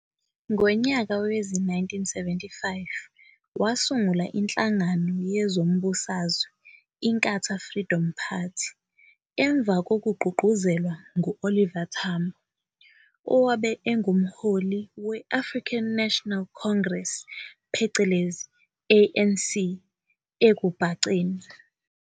Ngonyaka wezi-1975 wasungula inhlangano yezombusazwe iNkatha Freedom Party emva kokugqugquzelwa ngu-Oliver Tambo owabe engumholi we-African National Congress phecelezi ANC, ekubhaceni.